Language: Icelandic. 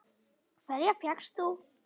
Hverja fékkst þú?